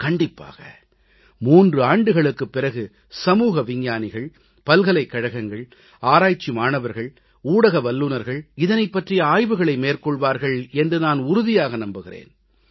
கண்டிப்பாக 3 ஆண்டுகளுக்குப் பிறகு சமூக விஞ்ஞானிகள் பல்கலைக்கழகங்கள் ஆராய்ச்சி மாணவர்கள் ஊடக வல்லுனர்கள் இதனைப் பற்றிய ஆய்வுகளை மேற்கொள்வார்கள் என்று நான் உறுதியாக நம்புகிறேன்